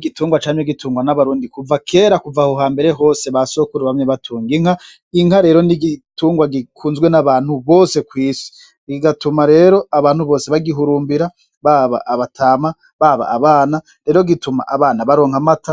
Igitungwa camye gitungwa n'abarundi kuva kera , Kuv'aho hambere hose basokuru bamye batung'inka. Inka rero n'igitungwa gikunzwe n'abantu bose kw'isi , bigatuma rero abantu bose bagihurmbira, baba abatama baba abana , rero gituma abana baronka amata ;